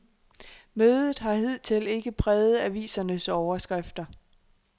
Mødet har hidtil ikke præget avisernes overskrifter.